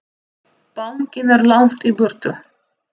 Bankinn er langt í burtu.